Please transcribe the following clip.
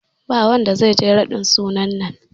Ba wanda zai je raɗin sunan nan